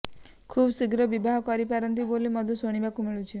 ଖୁବ୍ ଶୀଘ୍ର ବିବାହ କରିପାରନ୍ତି ବୋଲି ମଧ୍ୟ ଶଣିବାକୁ ମିଳୁଛି